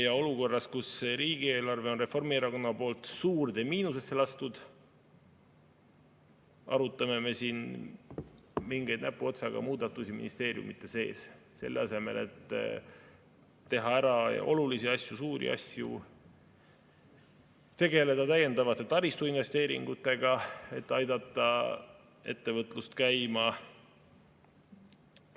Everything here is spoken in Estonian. Ja olukorras, kus riigieelarve on Reformierakonna poolt suurde miinusesse lastud, arutame me siin mingeid näpuotsaga muudatusi ministeeriumide sees, selle asemel et teha ära olulisi asju, suuri asju, tegeleda täiendavate taristuinvesteeringutega, et aidata ettevõtlust käima.